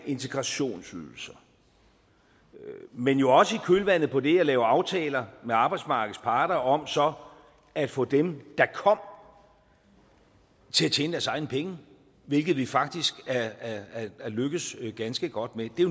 af integrationsydelser men jo også i kølvandet på det at lave aftaler med arbejdsmarkedets parter om så at få dem der kom til at tjene deres egne penge hvilket vi faktisk er lykkedes ganske godt med det er